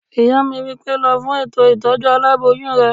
Ìyá mi wí pé "lọ fún ètò ìtọ́jú aláboyún rẹ!"